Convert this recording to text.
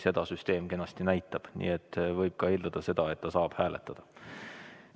Seda süsteem kenasti näitab, nii et võib ka eeldada, et ta saab hääletada.